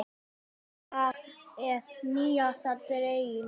Þetta lag er nýjasta dellan.